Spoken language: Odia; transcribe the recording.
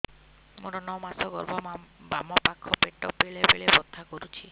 ମୋର ନଅ ମାସ ଗର୍ଭ ବାମ ପାଖ ପେଟ ବେଳେ ବେଳେ ବଥା କରୁଛି